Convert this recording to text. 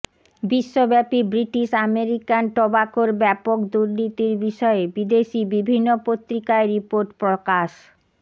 বিশ্বব্যাপী British American টোব্যাকোর ব্যাপক দুর্নীতির বিষয়ে বিদেশী বিভিন্ন পত্রিকায় রির্পোট প্রকাশ